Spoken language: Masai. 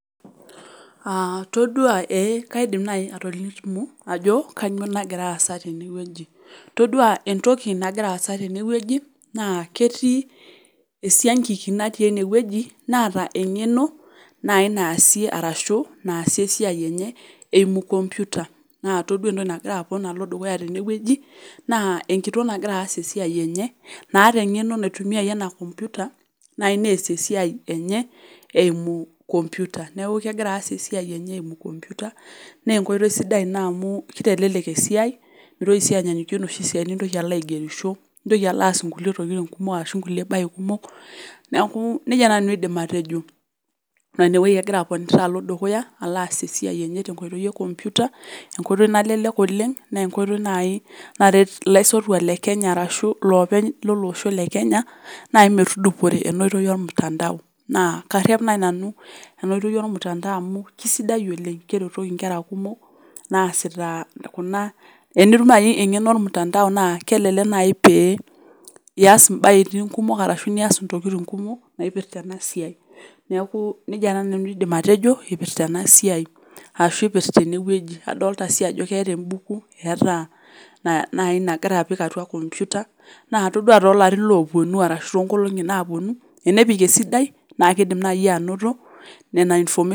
Aah toduaa ee kaidim nai atolimu ajo kanyoo nagiraasa tenewueji. Toduaa entoki nagiraasa tenewueji naa ketii esiangiki natii enewueji naata eng'eno nai naasie arashu naasie esiai enye eimu  kompyuta naatodua entoki nagiraapon alo dukuya tenewueji naa enkitok nagira aas esiai enye naata eng'eno naitumiaye ena kompyuta nai neas esiai enye eimu  kompyuta. Neaku kegira aas esiai enye eimu kompyuta neenkoitoi sidai ina amuu keitelelek esiai meitoki sii anyaanyukie noshi siai nintoki alo aigerisho nintoki alo aas nkulie tokitin kumok ashu nkulie bae kumok. Neakuu neija taa nanu aidim atejo naa inewuei agira aponita alo dukuya aloaas esii enye tenkoitoi e kompyuta, enkoitoi nalelek oleng' neenkoitoi nai naret ilaisotuak le Kenya arashu loopeny lolosho le Kenya nai metudupore enooitoi olmutandao. Naa karrep nai nanu enooitoi olmutandao amu keisidai oleng' keretoki nkera kumok naasitaa kuna. Enitum nai eng'eno olmutandao naa kelelek nai pee ias imbaetin kumok arashu nias intokitin kumok naipirta ena siai. Neakuu neija taa nanu aidim atejo eipirta enasiai ashu eipirta enewueji. Adolita sii ajo keeta embuku, eetaa na nai nagira apik atua  kompyuta naa toduaa toolarin loopuonu arashu toonkolong'i naapuonu enepik esidai naakeidim nai anoto nena information.